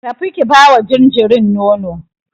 Tafi ki bawa jinjirin nono.